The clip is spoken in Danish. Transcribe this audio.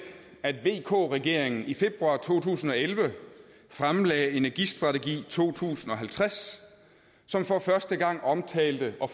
at vk regeringen i februar to tusind og elleve fremlagde energistrategi to tusind og halvtreds som for første gang omtalte og